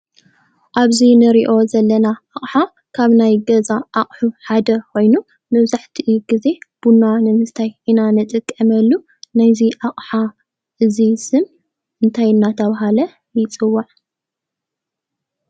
ኣብዚ እንሪኦ ዘለና ኣቅሓ ካብ ናይ ገዛ ኣቅሑ ሐደ ኮይኑ መብዛሕትኡ ግዜ ቡና ንምስታይ ኢና እንጥቀመሉ፡፡ ናይ እዚ ኣቅሓ እዚ ስም እንታይ እናተባሃለ ይፅዋዕ?